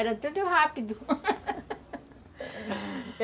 Era tudo rápido